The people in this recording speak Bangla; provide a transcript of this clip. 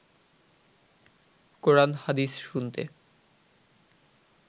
কোরান হাদিস শুনতে